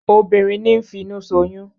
Obìnrin ní ń finu ṣoyún